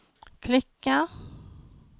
klicka